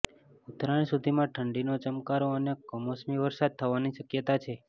ઉત્તરાયણ સુધીમાં ઠંડીનો ચમકારો અને કમોસમી વરસાદ થવાની શકયતાછે